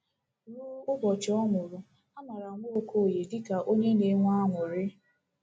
Ruo ụbọchị ọ nwụrụ, a maara Nwokoye dị ka onye na-enwe aṅụrị.